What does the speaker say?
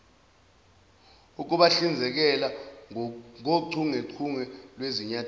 ukubahlinzekela ngochungechunge lwezinyathelo